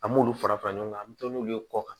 An m'olu fara fara ɲɔgɔn kan an mi to n'olu ye kɔ kan